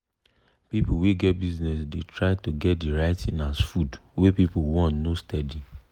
people wey get small business dey try to get de right thing as food wey people want no steady.